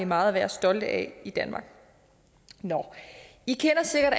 meget at være stolte af i danmark i kender sikkert